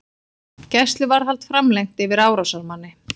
Gæsluvarðhald framlengt yfir árásarmanni